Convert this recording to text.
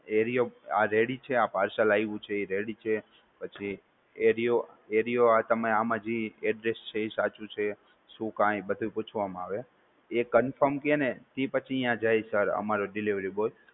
એરિયો આ ready છે, આ parcel આવ્યું છે ઈ ready છે? area આમાં જી address આવ્યું છે? શું કાંય બધુ પૂછવામાં આવે, એ confirm કે ને તિ પછી ત્યાં જાય sir અમારો delivery boy